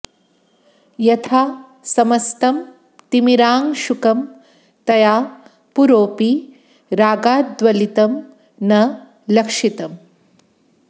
यथा समस्तं तिमिरांशुकं तया पुरोऽपि रागाद्गलितं न लक्षितम्